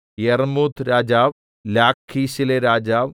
യർമ്മൂത്ത് രാജാവ് ലാഖീശിലെ രാജാവ്